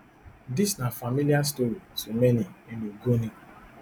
dis na familiar story to many in ogoni